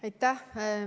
Aitäh!